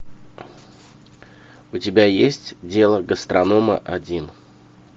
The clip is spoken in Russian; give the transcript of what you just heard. у тебя есть дело гастронома один